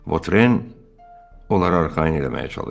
Votren onları arxayın eləməyə çalışdı.